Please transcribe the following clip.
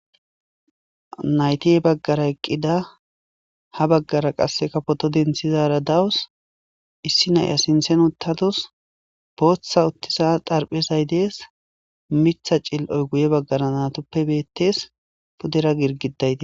Naytihe baggara eqqida ha baggara qasse kafoto denthizara dawus issi naya sinthen uttatus booththa uttisa darphezay dees mitha cil'oy guye baggara natoppe beettes pudera girgidayti.